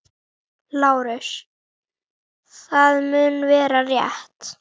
LÁRUS: Það mun vera- rétt.